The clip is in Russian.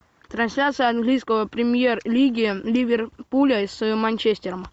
трансляция английской премьер лиги ливерпуля с манчестером